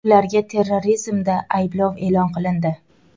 Ularga terrorizmda ayblov e’lon qilindi.